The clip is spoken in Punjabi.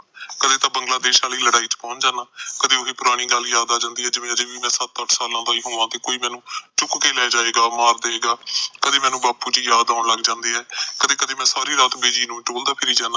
ਕਦੇ ਤਾ ਬੰਗਲਾ ਦੇਸ਼ ਵਾਲੀ ਲੜਾਈ ਚ ਪਹੁੰਚ ਜਾਂਦਾ ਕਦੇ ਉਹੀ ਪੁਰਾਣੀ ਗੱਲ ਯਾਦ ਆ ਜਾਂਦੀ ਐ ਜਿਵੇ ਅਜੇ ਵੀ ਮੈ ਸੱਤ ਅੱਠ ਸਾਲਾਂ ਦਾ ਹੀ ਹੋਮਾ ਜਿਵੋ ਕੋਈ ਮੈਨੂੰ ਚੁਕ ਕੇ ਲੈ ਜਾਏਗਾ ਮਾਰ ਦੇਗਾ ਕਦਿ ਮੇਨੂੰ ਬਾਪੂ ਜੀ ਯਾਦ ਆਉਂਣ ਲੱਗ ਜਾਂਦੇ ਐ ਕਦੇ ਕਦੇ ਮੈ ਸਾਰੀ ਰਾਤ ਬੀਜੀ ਨੂੰ ਟੋਲਦਾ ਫੀਰੀ ਜਾਂਦਾ